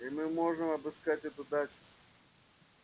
и мы можем обыскать эту дачу